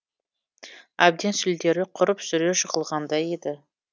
әбден сүлдері құрып сүре жығылғандай еді